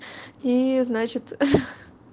и значит ха-ха